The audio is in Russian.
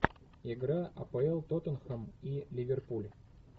игра апл тоттенхэм и ливерпуль